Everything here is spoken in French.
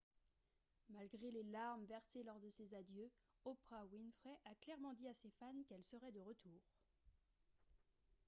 malgré les larmes versées lors de ses adieux oprah winfrey a clairement dit à ses fans qu'elle serait de retour